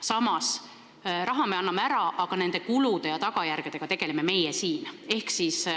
Samas, me anname raha ära, aga nende kulude ja tagajärgedega tegeleme meie siin.